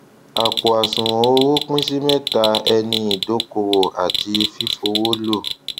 àpò àṣùwòn owó pín sí mẹta ẹni ìdókòwò àti fífowó lò